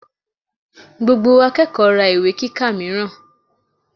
Gbogbo akẹ́kọ̀ọ́ ra ìwé kíkà mìíràn.